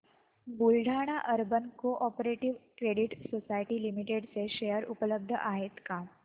Buldhana urban cooperative credit society limited चे share उपलब्ध आहेत का